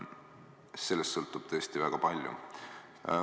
Sellest sõltub tõesti väga palju.